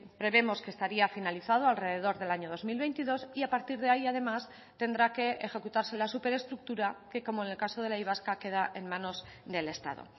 prevemos que estaría finalizado alrededor del año dos mil veintidós y a partir de ahí además tendrá que ejecutarse la súper estructura que como en el caso de la y vasca queda en manos del estado